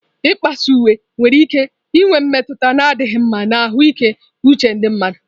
Ịkpasuịwe nwere ike inwe mmetụta na-adịghị mma na ahụike uche ndị mmadụ